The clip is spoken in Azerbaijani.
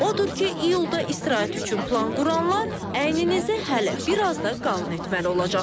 Odur ki, iyulda istirahət üçün plan quranlar əyninizi hələ bir az da qalın etməli olacaqsınız.